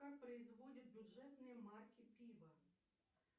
как производят бюджетные марки пива